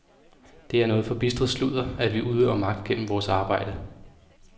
Det er noget forbistret sludder, at vi udøver magt gennem vores arbejde.